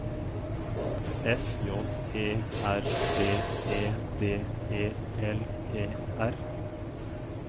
F J E R D E D E L E R